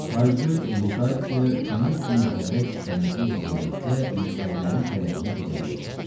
Taygöz Lutasiya kömür kimi Həbəş kənizi ilə birlikdə müştərilərin tələbinə ödəməyə çalışırdı.